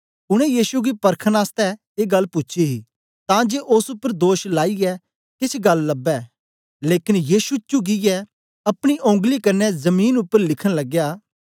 उनै यीशु गी परखन आसतै ए गल्ल पूछी ही तां जे ओस उपर दोष लाईयै केछ गल्ल लबै लेकन यीशु चुकियै अपनी ओंगली कन्ने जमीन उपर लिखन लगया